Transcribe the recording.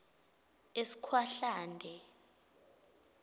eskhwahlande